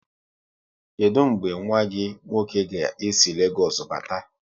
Kedụ mgbe nwanne gị nwoke ga-esi Legoosu bata?